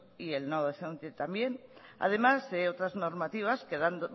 y el no docente también además de otras normativas que